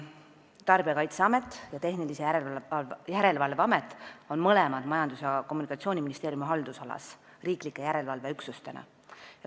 Tarbijakaitseamet ja Tehnilise Järelevalve Amet on mõlemad Majandus- ja Kommunikatsiooniministeeriumi haldusalas riiklike järelevalveüksustena.